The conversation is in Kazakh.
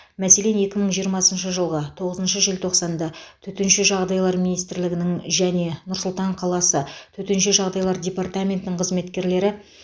мәселен екі мың жиырмасыншы жылғы тоғызыншы желтоқсанда төтенше жағдайлар министрлігінің және нұр сұлтан қаласы төтенше жағдайлар департаментінің қызметкерлері